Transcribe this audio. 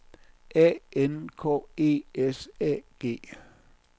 A N K E S A G